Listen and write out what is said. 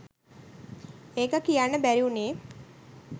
ඒක කියන්න බැරි වුණේ